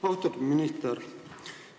Austatud minister!